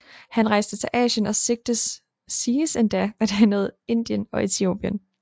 Han rejste til Asien og siges endda at have nået Indien og Etiopien